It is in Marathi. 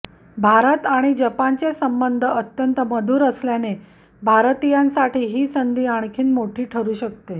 भारत आणि जपानचे संबंध अत्यंत मधूर असल्याने भारतीयांसाठी ही संधी आणखीन मोठी ठरू शकते